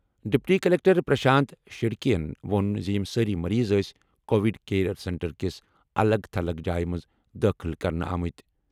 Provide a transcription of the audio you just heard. Deputy collector Prashant شرڈکے یَن ووٚن زِ یِم سٲری مریض ٲسۍ کووِڈ کیئر سینٹر کِس الگ تھلگ جایہِ منٛز دٲخٕل کرنہٕ آمٕتۍ۔